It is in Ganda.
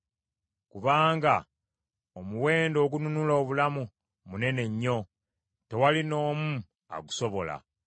Kubanga omuwendo ogununula obulamu munene nnyo, tewali n’omu agusobola;